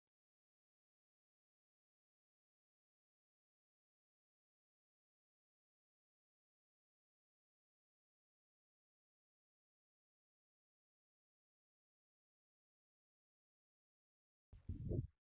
Suuraa kana irratti kan mul'atu Kun mi'a yookiin immoo shaqaxa kuntaala kiiloo dhibba tokko qabachuu danda'u keessatti qabamee kan jirudha. Kunis immoo shaqaxni achi keessa jiru Akka hin bittinnoofneef gargaara.